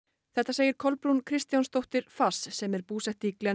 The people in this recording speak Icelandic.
þetta segir Kolbrún Kristjánsdóttir sem er búsett